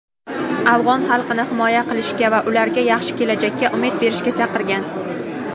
afg‘on xalqini himoya qilishga va ularga yaxshi kelajakka umid berishga chaqirgan.